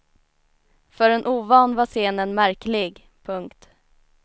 För en ovan var scenen märklig. punkt